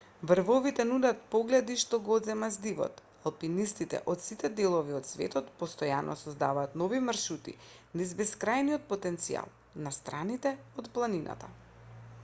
врвовите нудат погледи што го одземаат здивот алпинистите од сите делови од светот постојано создаваат нови маршрути низ бескрајниот потенцијал на страните од планината